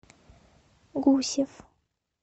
гусев